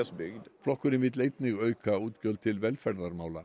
flokkurinn vill einnig auka útgjöld til velferðarmála